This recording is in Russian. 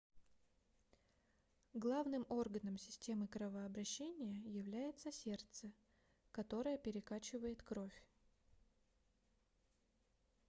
главным органом системы кровообращения является сердце которое перекачивает кровь